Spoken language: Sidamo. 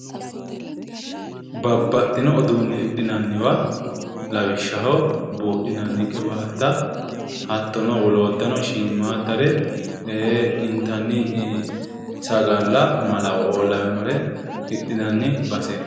Babbaxxino uduunne hidhinanniwa lawishshaho buudhinanni qiwaatta hattono wolootano shiimmaaddare ee intanni sagalla malawooo lawinore hidhinanni baseeti